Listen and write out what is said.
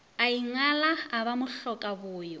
a ingala a ba mohlokaboyo